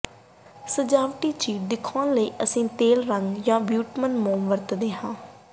ਸਜਾਵਟੀ ਚੀਰ ਦਿਖਾਉਣ ਲਈ ਅਸੀਂ ਤੇਲ ਰੰਗ ਜਾਂ ਬਿਟੂਮਨ ਮੋਮ ਵਰਤਦੇ ਹਾਂ